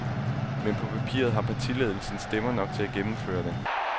Men på papiret har partiledelsen stemmer nok til at gennemføre det.